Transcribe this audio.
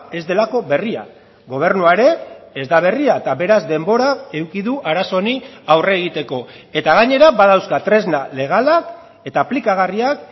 ez delako berria gobernua ere ez da berria eta beraz denbora eduki du arazo honi aurre egiteko eta gainera badauzka tresna legalak eta aplikagarriak